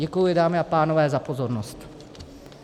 Děkuji, dámy a pánové, za pozornost.